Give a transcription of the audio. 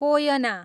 Koyna